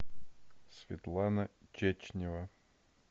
светлана чечнева